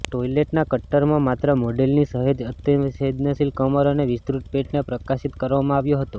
ટોઇલેટના કટ્ટરમાં માત્ર મોડેલની સહેજ અતિસંવેદનશીલ કમર અને વિસ્તૃત પેટને પ્રકાશિત કરવામાં આવ્યો હતો